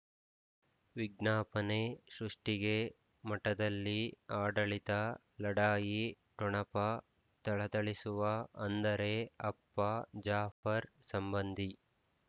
ವಿಜ್ಞಾಪನೆ ಸೃಷ್ಟಿಗೆ ಮಠದಲ್ಲಿ ಆಡಳಿತ ಲಢಾಯಿ ಠೊಣಪ ಥಳಥಳಿಸುವ ಅಂದರೆ ಅಪ್ಪ ಜಾಫರ್ ಸಂಬಂಧಿ